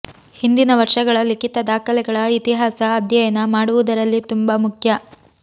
ಹಿಂದಿನ ವರ್ಷಗಳ ಲಿಖಿತ ದಾಖಲೆಗಳ ಇತಿಹಾಸ ಅಧ್ಯಯನ ಮಾಡುವುದರಲ್ಲಿ ತುಂಬಾ ಮುಖ್ಯ